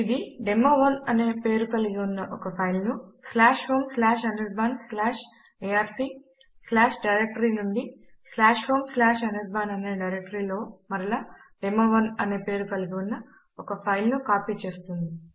ఇది డెమో1 అనే పేరు కలిగి ఉన్న ఒక ఫైల్ ను homeanirbanarc డైరెక్టరీ నుండి homeanirban అనే డైరెక్టరీ లో మరలా డెమో1 అనే పేరు కలిగి ఉన్న ఒక ఫైల్ నుకాపీ చేస్తుంది